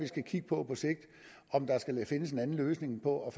skal kigge på om der skal findes en anden løsning på